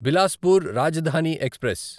Bilaspur Rajdhani express